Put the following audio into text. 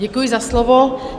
Děkuji za slovo.